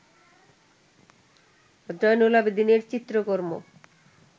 জয়নুল আবেদিনের চিত্রকর্ম